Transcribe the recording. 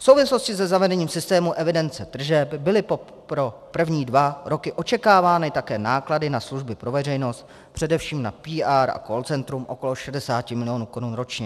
V souvislosti se zavedení systému evidence tržeb byly pro první dva roky očekávány také náklady na služby pro veřejnost, především na PR a call centrum okolo 60 milionů Kč ročně.